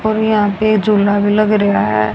और यहां पे झूला भी लग रेया है।